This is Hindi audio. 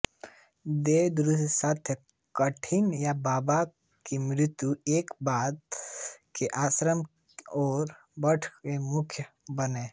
दीक्षागुरु संतदास काठियाबाबा की मृत्यु के बाद वे आश्रम और मठ के प्रमुख बने